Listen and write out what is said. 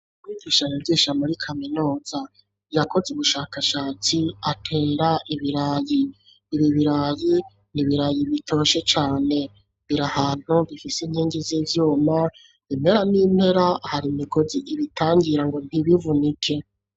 Umwigisha yagisha muri kaminuza yakoze ubushakashatsi atera ibirayi biri birayi nibirayi bitoshe cane biri ahantu bifite inkingi z'ibyuma impera n'impera hari imigozi ibitangira ngo ntibivunike.